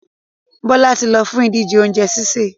Bọ́lá ti ń lọ fún ìdíje oúnjẹ sísè.